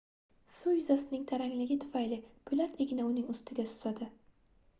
suv yuzasining tarangligi tufayli poʻlat igna uning ustida suzadi